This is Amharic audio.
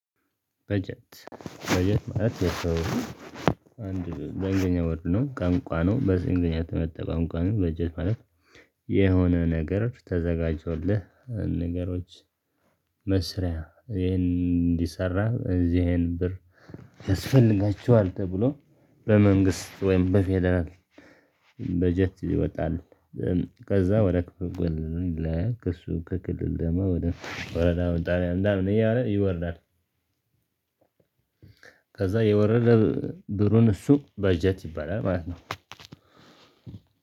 በጀት በጀት ማለት የሰው አንድ በእንግሊዘኛ ወርድ ነው ቀንቋ ነው። በዚህ እንግሊዘኛ ተመጥተህ ተመጠቀም ቀኑን በጀት ማለት የሆነ ነገር ተዘጋጅቶልህ ንገሮች። መስሪያ ይሄን እንዲሰራ እዚህን ብር ያስፈልጋችኋል ተብሎ በመንግስት ወይም በፌደራል በጀት ይወጣል። ከዛ ወደ ክልል ነው የሚላክ እሱ ከክልል ደማ ወደ ወረዳ ማጣሪያ ምናምን እያለ ይወርዳል። ከዛ የወረደ ብሩን እሱ በጀት ይባላል ማለት ነው።